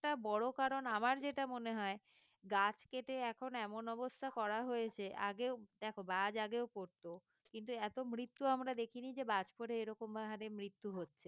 বড় কারণ আমার যেটা মনে হয় গাছ কেটে এখন এমন অবস্থা করা হয়েছে আগেও দেখো বাজ আগেও পড়তো কিন্তু এত মৃত্যু আমরা দেখিনি যে বাজ পড়ে এরকম হারে মৃত্যু হচ্ছে